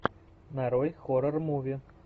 нарой хоррор муви